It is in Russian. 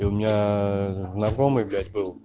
и у меня знакомый блять был